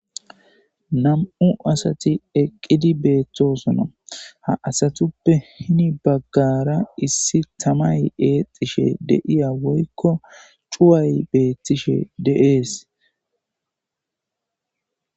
nam7u asati eqqidi beettosona ha asatuppe hini baggara issi tamay eexishe deiya woykko cuway beettishe dee'es